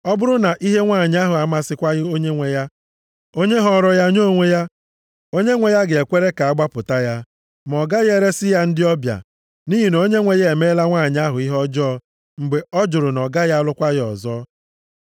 Ọ bụrụ na ihe nwanyị ahụ amasịkwaghị onyenwe ya, onye họọrọ ya nye onwe ya, onyenwe ya ga-ekwere ka a gbapụta ya. Ma ọ gaghị eresi ya ndị ọbịa. Nʼihi na onyenwe ya emeela nwanyị ahụ ihe ọjọọ mgbe ọ jụrụ na ọ gaghị alụkwa ya ọzọ.